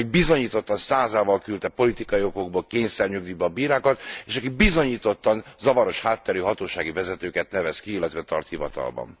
Amelyik bizonyítottan százával küldte politikai okokból kényszernyugdíjba a bírákat, és aki bizonyítottan zavaros hátterű hatósági vezetőket nevez ki, illetve tart hivatalban.